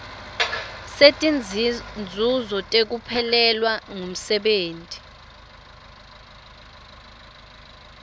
setinzuzo tekuphelelwa ngumsebenti